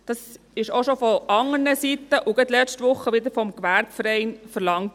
Dies wurde auch von anderen Seiten und gerade letzte Woche wieder vom Gewerbeverein verlangt.